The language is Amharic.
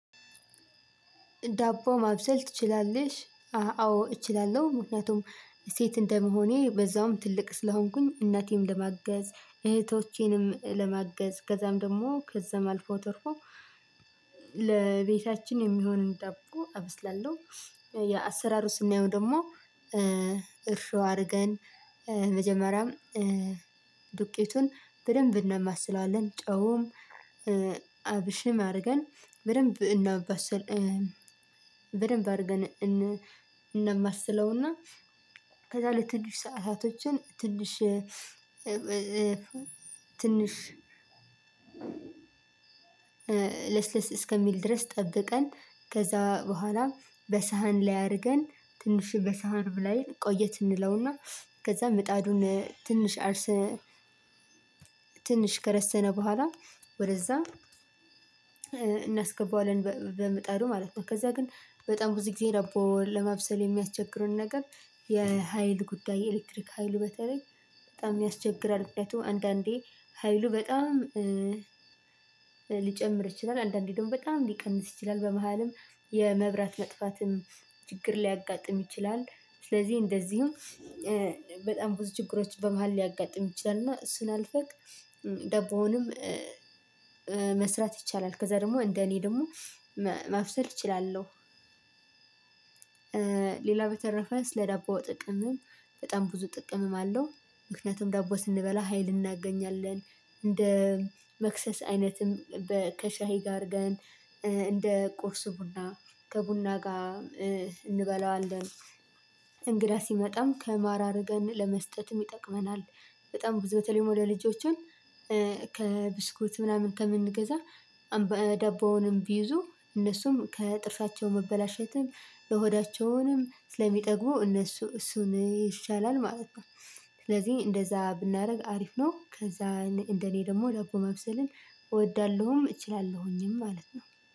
ዳቦ ማብሰል ትችላለሽ አዎ እችላለሁ። ምክንያቱም ሴት እንደመሆኔ በዛውም ትልቅ ስለሆንኩኝ እናቴን ለማገዝ እህቶቼንም ለማገዝ ከዛም ደግሞ ከዛም አልፎ ተርፎ ለቤታችን የሚሆንን ዳቦ አበስላለሁ። የአሰራሩ ስናየው ደግሞ እርሾ አድርገን መጀመሪያም ዱቄቱን በደንብ እናማስለዋለን ጨውም አብሽም አድርገን በደንብ እናባሰል። በደንብ አድርገን እናማስለውና ከዛ ለትንሽ ሰዓታቶችን ትንሽ ትንሽ ለስለስ እስከሚል ድረስ ጠብቀን ከዛ በኋላ በሰህን ላይ አድርገን ትንሽ በሰሀንም ላይ ቆየት እንለውና። ከዛ ምጣዱን ትንሽ አርሰ ትንሽ ከረሰነ በኋላ ወደዛ እናስገባዋለን በምጣዱ ማለት ነው። ከዛ ግን በጣም ብዙ ጊዜ ዳቦ ለማብሰል የሚያስቸግረን ነገር የሀይል ጉዳይ ኤሌክትሪክ ሀይል በተለይ በጣም ያስቸግራል። ምክንያቱም አንዳንዴ ሀይሉ በጣም ሊጨምር ይችላል። አንዳንዴ ደግሞ በጣም ሊቀንስ ይችላል። በመሃልም የመብራት መጥፋትም ችግር ሊያጋጥም ይችላል። ስለዚህ እንደዚሁም በጣም ብዙ ችግሮች በመሃል ሊያጋጥም ይችላል። እና እርሱን አልፈህ ዳቦውንም መስራት ይቻላል። ከዛ ደግሞ እንደኔ ደግሞ ማብሰል እችላለሁ። ሌላው በተረፈ ስለ ዳቦ ጥቅምም በጣም ብዙ ጥቅምም አለው። ምክንያቱም ዳቦ ስንበላ ሀይል እናገኛለን። እንደ መክሰስ አይነትም ከሻይ ጋር አድርገን እንደ ቁርስ ቡና ከቡና ጋር እንበላዋለን። እንግዳ ሲመጣም ከማር አድርገን ለመስጠትም ይጠቅመናል። በጣም ብዙ በተለይ ደግሞ ለልጆችም ከብስኩት ምናምን ከምንገዛ ዳቦውንም ቢይዙ እነርሱም ከጥርሳቸው መበላሸትም ለሆዳቸውም ስለሚጠግቡ እነሱ እሱን ይሻላል ማለት ነው። ስለዚህ እንደዛ ብናደርግ አሪፍ ነው። ከዛ እንደኔ ደግሞ ዳቦ ማብሰልን እወዳለሁም እችላለሁኝም ማለት ነው።